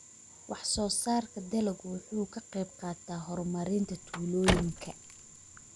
Wax-soo-saarka dalaggu wuxuu ka qayb qaataa horumarinta tuulooyinka.